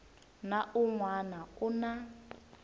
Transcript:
na un wana u na